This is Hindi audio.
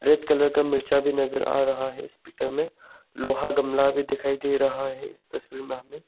रेड कलर का मिर्चा भी नजर आ रहा है इस पिक्चर में लोहा गमला भी दिखाई दे रहा है इस तस्वीर में हमें।